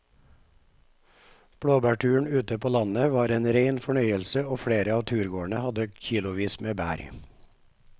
Blåbærturen ute på landet var en rein fornøyelse og flere av turgåerene hadde kilosvis med bær.